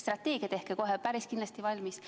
Strateegia tehke kohe päris kindlasti valmis.